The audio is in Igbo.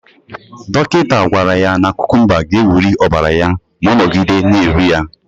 Dọkịta gwara ya na kukumba ga-ewuli ọbara ya ma ọ nọgide na-eri ya.